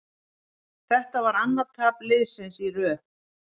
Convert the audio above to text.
Þetta var annað tap liðsins í röð.